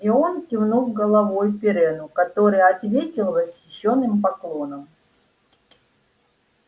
и он кивнул головой пиренну который ответил восхищённым поклоном